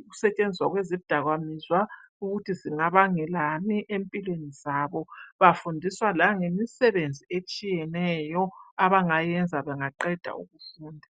ukusetshenziswa kwezidakamizwa ukuthi zingabangelani empilweni zabo, bafundiswa langemisebenzi etshiyeneyo abangayenza bangaqeda ukufunda.